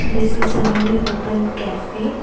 This is a newly opened cafe.